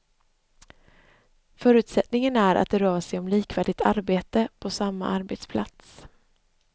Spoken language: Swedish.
Förutsättningen är att det rör sig om likvärdigt arbete på samma arbetsplats.